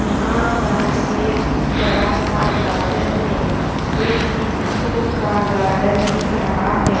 यहाँ पर एक बड़ा सा गार्डन है ये किसी स्कूल का गार्डन दिख रहा है ।